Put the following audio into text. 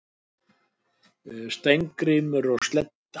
Steingrímur og Sledda,